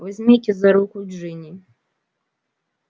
возьмите за руку джинни